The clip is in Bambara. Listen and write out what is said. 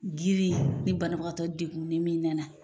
Girin ni banabagatɔ degunen min nana.